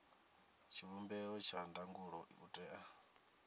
tshivhumbeo tsha ndangulo u tea